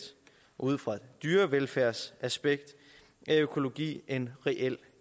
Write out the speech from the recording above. ud fra et dyrevelfærdsaspekt er økologi en reel